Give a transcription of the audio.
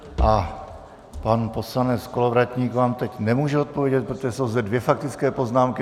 A pan poslanec Kolovratník vám teď nemůže odpovědět, protože jsou zde dvě faktické poznámky.